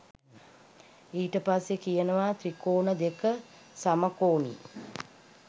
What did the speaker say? ඊට පස්සෙ කියනවා ත්‍රිකෝණ දෙක සමකෝණී